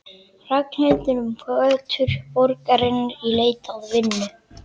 Ragnhildur um götur borgarinnar í leit að vinnu.